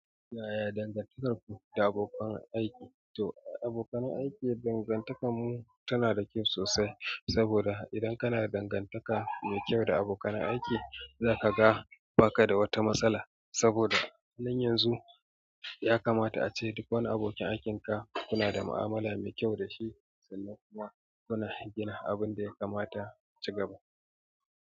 Yaya dangantakarku da abokan aiki? To abokan aiki dangantakarmu tana da kyau sosai saboda idan kana dangantaka mai kyau da abokan aiki za ka ga ba ka da wata matsala. Saboda nan yanzu ya kamata ace duk abokan aikin ka kina da mu'amala fashi.